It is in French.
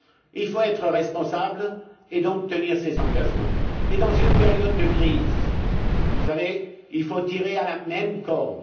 Il faut être responsables et donc tenir nos engagements. Dans une période de crise, il faut tirer sur la même corde.